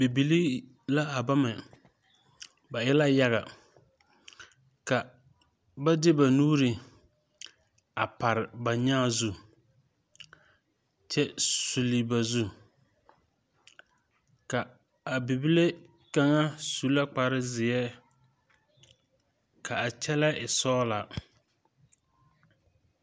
Bibilii la a bama ba e la yaga ka ba di ba nuure a pare ba nyaa zu kyɛ suli ba zu ka a bibile kaŋa su la kparezeɛ ka a kyɛlɛɛ e sɔglaa.